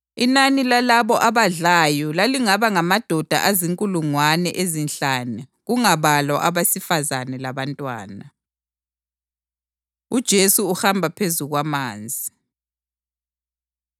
Inani lalabo abadlayo lalingaba ngamadoda azinkulungwane ezinhlanu kungabalwa abesifazane labantwana. UJesu Uhamba Phezu Kwamanzi